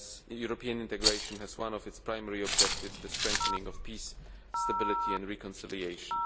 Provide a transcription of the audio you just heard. European integration has as one of its primary objectives the strengthening of peace, stability and reconciliation.